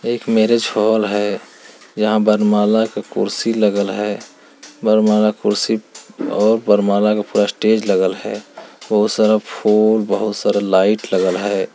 एक marriage hall है जहाँ वर्णमाला का कुर्सी लगल है वर्णमाला के कुर्सी और वर्णमाला के पूरा स्टेज लगल है बहुत सारा फूल बहुत सारे लाइट लगल है।